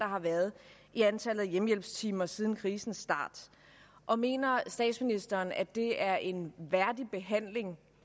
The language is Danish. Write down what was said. har været i antallet af hjemmehjælpstimer siden krisens start og mener statsministeren at det er en værdig behandling